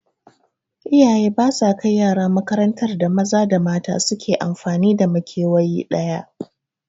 Iyaye ba sa kai yara makarantar da maza da mata su ke amfani da makewayi ɗaya